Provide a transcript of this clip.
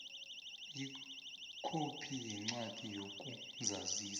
ikhophi yencwadi yokuzazisa